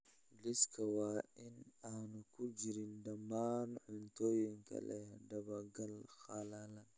Liiska waa in aanu ku jirin dhammaan cuntooyinka leh daba-gal qalalan